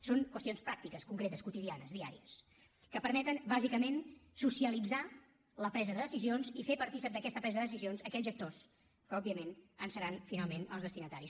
són qüestions pràctiques concretes quotidianes diàries que permeten bàsicament socialitzar la presa de decisions i fer partícips d’aquesta presa de decisions aquells actors que òbviament en seran finalment els destinataris